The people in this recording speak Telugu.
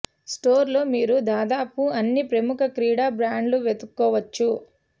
స్టోర్ లో మీరు దాదాపు అన్ని ప్రముఖ క్రీడా బ్రాండ్ల వెదుక్కోవచ్చు